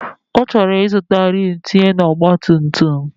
Ọchọrọ izụta Rim tinye na ọgba tum tum.